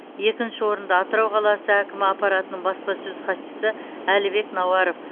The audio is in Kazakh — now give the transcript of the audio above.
екінші орынды атырау қаласы әкімі аппаратының баспасөз хатшысы әлібек науаров